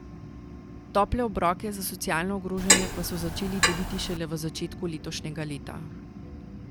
Tople obroke za socialno ogrožene pa so začeli deliti šele v začetku letošnjega leta.